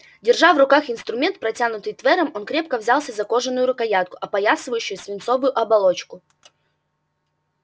держа в руках инструмент протянутый твером он крепко взялся за кожаную рукоятку опоясывающую свинцовую оболочку